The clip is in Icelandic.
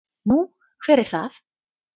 Nú, hver er það?